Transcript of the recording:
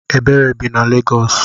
Ebere bi na Legos.